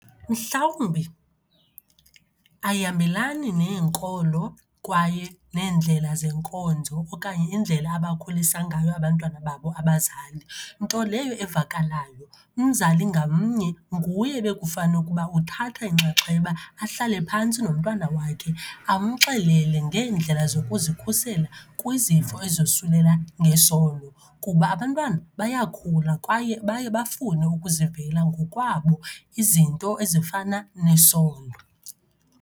Mhlawumbi ayihambelani neenkolo kwaye neendlela zenkonzo okanye indlela abakhulisa ngayo abantwana babo abazali, nto leyo evakalayo. Umzali ngamnye nguye bekufanukuba uthatha inxaxheba, ahlale phantsi nomntwana wakhe amxelele ngeendlela zokuzikhusela kwizifo ezosulela ngesondo. Kuba abantwana bayakhula kwaye baye bafune ukuzivela ngokwabo izinto ezifana nesondo.